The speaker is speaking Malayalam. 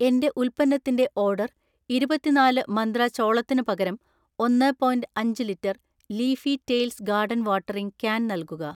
എന്‍റെ ഉൽപ്പന്നത്തിന്‍റെ ഓർഡർ ഇരുപത്തിനാല് മന്ത്ര ചോളത്തിന് പകരം ഒന്ന് പോയിന്റ് അഞ്ച് litre leafy tales garden watering can നൽകുക.